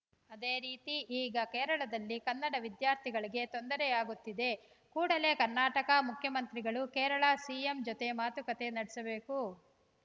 ಅದೇ ರೀತಿ ಈಗ ಕೇರಳದಲ್ಲಿ ಕನ್ನಡ ವಿದ್ಯಾರ್ಥಿಗಳಿಗೆ ತೊಂದರೆಯಾಗುತ್ತಿದೆ ಕೂಡಲೇ ಕರ್ನಾಟಕ ಮುಖ್ಯಮಂತ್ರಿಗಳು ಕೇರಳ ಸಿಎಂ ಜೊತೆಗೆ ಮಾತುಕತೆ ನಡೆಸಬೇಕು